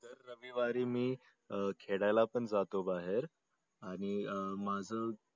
दर रविवारी मी खेळायला पण जातो बाहेर आणि अं माझं